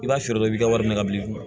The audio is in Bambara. I b'a sɔrɔ dɔ bɛ ka wari minɛ ka bila i kun